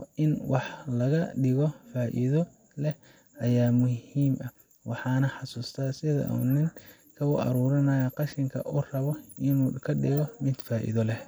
oo in wax ladigo faido leh ayaa muhim ah waxana xasusta sidha ninka uu qashinka u arurinayo oo rabo inu kadigo mid faido leh.